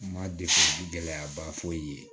Ma de gɛlɛyaba foyi ye